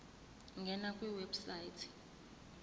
ngena kwi website